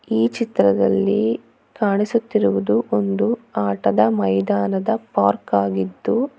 ಈ ಚಿತ್ರದಲ್ಲಿ ಕಾಣಿಸುತ್ತಿರುವುದು ಒಂದು ಆಟದ ಮೈದಾನದ ಪಾರ್ಕ್ ಆಗಿತ್ತು.